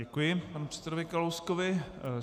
Děkuji panu předsedovi Kalouskovi.